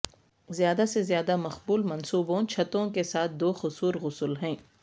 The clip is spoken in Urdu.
زیادہ سے زیادہ مقبول منصوبوں چھتوں کے ساتھ دو قصور غسل ہیں